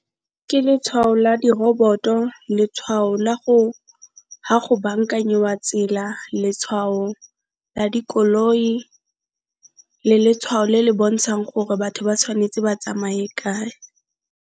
Ke letshwao la diroboto, letshwao la go ga go bankanyiwa tsela, letshwao la dikoloi le letshwao le le bontshang gore batho ba tshwanetse ba tsamaye kae.